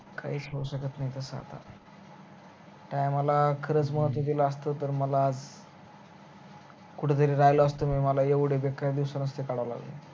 काहीच होवू शकत नाई तस आता time ला खरच महत्व दिला असता तर मला कुठतरी राहील असत मी मला एवढ बेकार दिवस नसते काढाव लागले